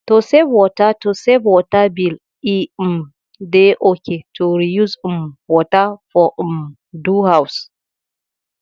to save water to save water bill e um dey okay to reuse um water for um do house